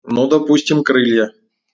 ну допустим крылья